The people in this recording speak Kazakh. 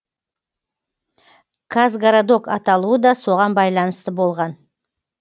казгородок аталуы да соған байланысты болған